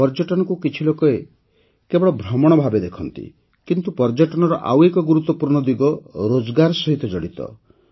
ପର୍ଯ୍ୟଟନକୁ କିଛି ଲୋକ କେବଳ ଭ୍ରମଣ ଭାବେ ଦେଖନ୍ତି କିନ୍ତୁ ପର୍ଯ୍ୟଟନର ଆଉ ଏକ ଗୁରୁତ୍ୱପୂର୍ଣ୍ଣ ଦିଗ ରୋଜଗାର ସହିତ ଜଡ଼ିତ